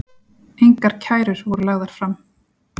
Engar kærur voru lagðar fram